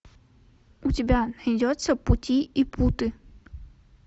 у тебя найдется пути и путы